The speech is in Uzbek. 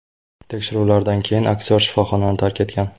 Tekshiruvlardan keyin aktyor shifoxonani tark etgan.